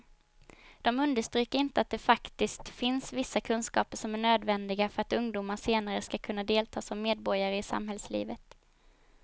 De understryker inte att det faktiskt finns vissa kunskaper som är nödvändiga för att ungdomar senare ska kunna delta som medborgare i samhällslivet.